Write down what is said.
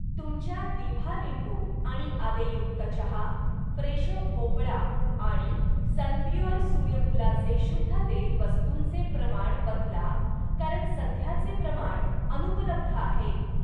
तुमच्या दिभा लिंबू आणि आलेयुक्त चहा, फ्रेशो भोपळा आणि सनप्युअर सूर्यफूलाचे शुद्ध तेल वस्तूंचे प्रमाण बदला कारण सध्याचे प्रमाण अनुपलब्ध आहे.